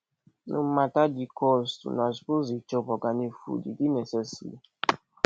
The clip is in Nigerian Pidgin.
no mata di cost una suppose dey chop organic food e dey necessary